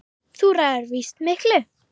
Þú ræður víst miklu.